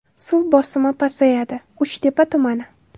Suv bosimi pasayadi: Uchtepa tumani.